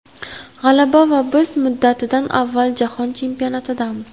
G‘alaba va biz muddatidan avval Jahon Chempionatidamiz!.